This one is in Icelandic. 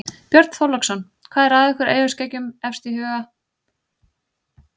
Björn Þorláksson: Hvað er ykkur eyjaskeggjum efst í huga á degi sem þessum?